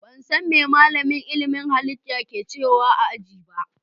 Ban san me malamin ilimin halitta ke cewa a ajin ba.